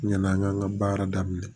N nana n ka n ka baara daminɛ